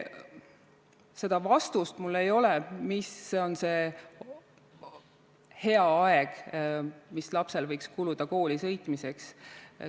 Seda vastust mul ei ole, mis on see hea aeg, mis lapsel võiks kuluda kooli sõitmiseks.